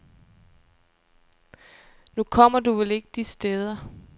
Nu kommer du vel ikke de steder.